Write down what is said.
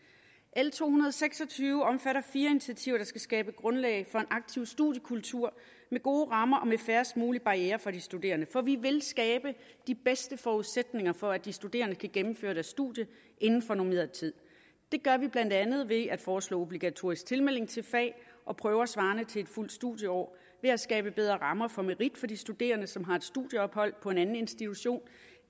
l to hundrede og seks og tyve omfatter fire initiativer der skal skabe grundlag for en aktiv studiekultur med gode rammer og med færrest mulige barrierer for de studerende for vi vil skabe de bedste forudsætninger for at de studerende kan gennemføre deres studie inden for normeret tid det gør vi blandt andet ved at forslå obligatorisk tilmelding til fag og prøver svarende til et fuldt studieår ved at skabe bedre rammer for merit for de studerende som har et studieophold på en anden institution